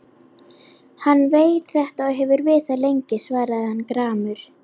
Hann veit þetta og hefur vitað lengi, svaraði hann gramur.